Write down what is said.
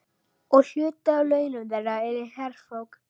Og hluti af launum þeirra er herfang.